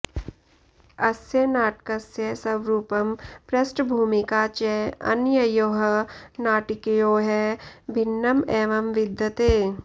अस्य नाटकस्य स्वरूपं पृष्ठभूमिका च अन्ययोः नाटिकयोः भिन्नम् एव विद्यते